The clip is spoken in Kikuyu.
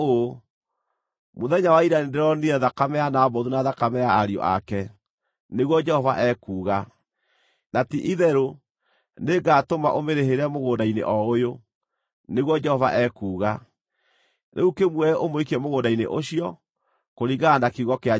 ‘Mũthenya wa ira nĩndĩronire thakame ya Nabothu na thakame ya ariũ ake, nĩguo Jehova ekuuga, na ti-itherũ nĩngatũma ũmĩrĩhĩre mũgũnda-inĩ o ũyũ, nĩguo Jehova ekuuga.’ Rĩu kĩmuoe, ũmũikie mũgũnda-inĩ ũcio, kũringana na kiugo kĩa Jehova.”